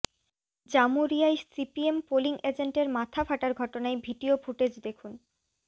জামুরিয়ায় CPM polling এজেন্টের মাথা ফাটার ঘটনায় ভিডিও ফুটেজ দেখুন